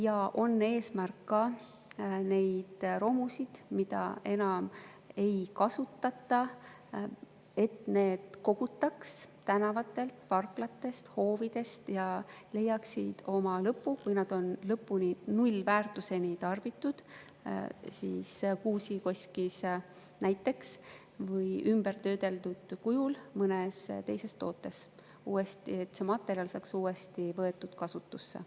Ja on ka eesmärk, et romusid, mida enam ei kasutata, kogutaks tänavatelt, parklatest, hoovidest ja need leiaksid oma lõpu – kui need on lõpuni, nullväärtuseni tarbitud – näiteks Kuusakoskis või ümbertöödeldud kujul mõnes teises tootes, et see materjal saaks võetud uuesti kasutusse.